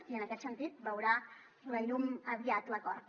i en aquest sentit veurà la llum aviat l’acord